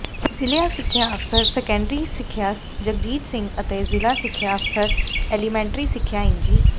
ਜਿਲ੍ਹਾ ਸਿੱਖਿਆ ਅਫਸਰ ਸੈਕੰਡਰੀ ਸਿੱਖਿਆ ਜਗਜੀਤ ਸਿੰਘ ਅਤੇ ਜਿਲ੍ਹਾ ਸਿੱਖਿਆ ਅਫਸਰ ਐਲੀਮੈਂਟਰੀ ਸਿੱਖਿਆ ਇੰਜੀ